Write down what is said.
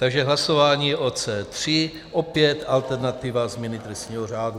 Takže hlasování o C3, opět alternativa změny trestního řádu.